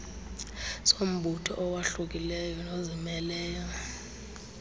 sombutho owahlukileyo nozimeleyo